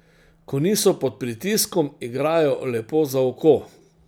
Ko niso pod pritiskom, igrajo lepo za oko.